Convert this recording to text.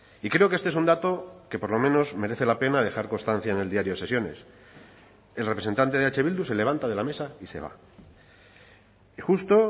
y creo que este es un dato que por lo menos merece la pena dejar constancia en el diario de sesiones el representante de eh bildu se levanta de la mesa y se va y justo